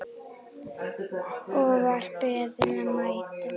Og var beðinn að mæta.